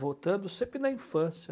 Voltando sempre na infância.